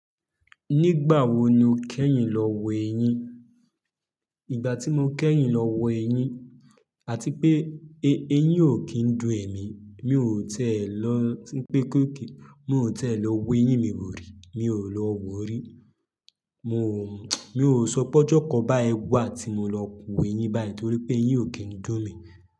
Nígbà wo ni o kẹ́yìn lọ wo ẹyin? Ìgbà tí mo kẹ́yìn lọ wo ẹyin, àti pé ẹ-ẹyin ò kí ń dùn ẹ̀mí, mi ò ti ẹ́ lọ tí pé kó ke-- mi ò ti e lọ wo ẹyin mi wò rí, mi ò lọ wo rí. Mo, mi ò sọ pe ojọ́ kan báyii wa ti mo lọ wo ẹyin báyìí torí pé ẹyin ò kí ń dùn mi.